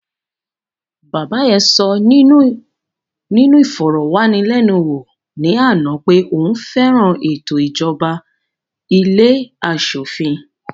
Bàbá yẹn sọ nínú ìfọ̀rọ̀wánilénuwò ní àná pé òun fẹ́ràn ètò ìjọba ilé aṣòfin